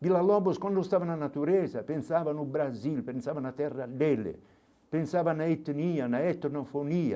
Vila Lobos quando estava na natureza pensava no Brasil, pensava na terra dele, pensava na etnia, na etnofonia.